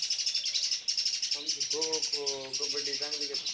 आमची खो-खो, कबड्डी चांगली घेत्यात.